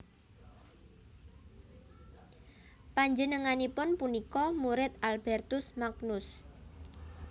Panjenenganipun punika murid Albertus Magnus